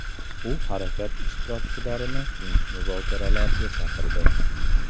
U harakat ishtirokchilarini tinch muzokaralarga chaqirdi.